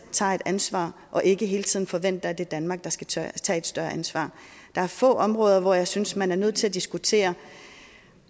tager et ansvar og ikke hele tiden forventer at det er danmark der skal tage et større ansvar der er få områder hvor jeg synes man er nødt til at diskutere